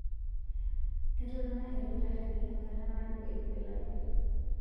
Etotona ilkitarini enkata naado eitu elaki